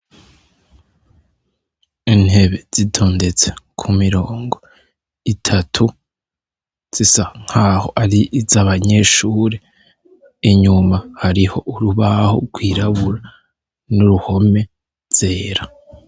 Intebe zitondetse kumirongo itatu zisa nkaho ari izabanyeshure inyuma hariho urubaho rwirabura n'uruhome zera.